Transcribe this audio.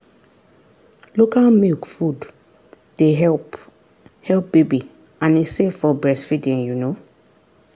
local milk food dey help help baby and e safe for breastfeeding. um